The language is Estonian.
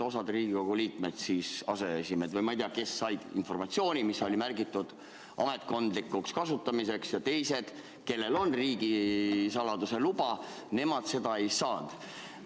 Osa Riigikogu liikmeid, aseesimehed või ma ei tea kes, said informatsiooni, mis oli märgitud ametkondlikuks kasutamiseks, ja teised, kellel on isegi ka riigisaladuse luba, seda ei saanud.